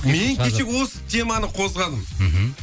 мен кеше осы теманы қозғадым мхм